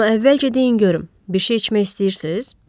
Amma əvvəlcə deyin görüm, bir şey içmək istəyirsiz?